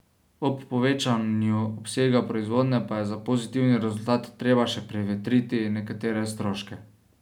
Ob povečevanju obsega proizvodnje pa je za pozitivni rezultat treba še prevetriti nekatere stroške.